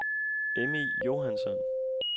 Emmy Johansson